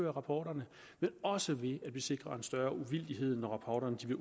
rapporterne men også ved at vi sikrer en større uvildighed når rapporterne